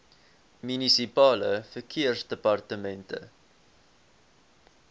munisipale verkeersdepartemente